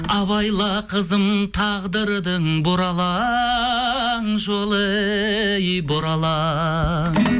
абайла қызым тағдырдың бұралаң жолы ей бұралаң